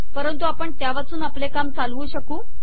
परंतु आपण त्यावाचून आपले काम चालुवू शकतो